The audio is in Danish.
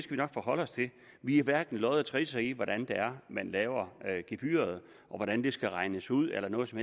vi nok forholde os til vi har hverken lodder eller trisser i hvordan det er man laver gebyret og hvordan det skal regnes ud eller noget som